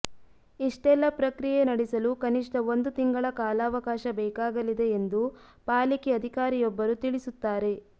ಇಷ್ಟೆಲ್ಲಾ ಪ್ರಕ್ರಿಯೆ ನಡೆಸಲು ಕನಿಷ್ಠ ಒಂದು ತಿಂಗಳ ಕಾಲಾವಕಾಶ ಬೇಕಾಗಲಿದೆ ಎಂದು ಪಾಲಿಕೆ ಅಧಿಕಾರಿಯೊಬ್ಬರು ತಿಳಿಸುತ್ತಾರೆ